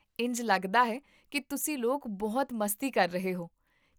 ਇੰਝ ਲੱਗਦਾ ਹੈ ਕਿ ਤੁਸੀਂ ਲੋਕ ਬਹੁਤ ਮਸਤੀ ਕਰ ਰਹੇ ਹੋ